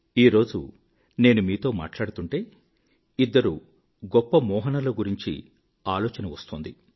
ఈరోజు నేను మీతో మాట్లాడుతుంటే ఇద్దరు గొప్ప మోహనుల గురించి ఆలోచన వస్తోంది